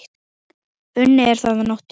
Unnið er þar að nóttu.